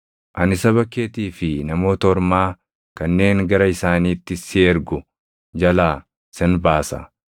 Ani saba keetii fi Namoota Ormaa kanneen gara isaaniitti si ergu jalaa sin baasa.